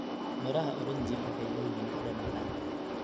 Midhaha oranji waxay leeyihiin dhadhan macaan.